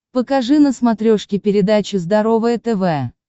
покажи на смотрешке передачу здоровое тв